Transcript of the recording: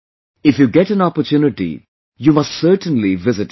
If you get n opportunity, you must certainly visit it